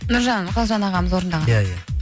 нұржан қалжан ағамыз орындаған иә иә